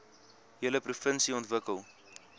hele provinsie ontwikkel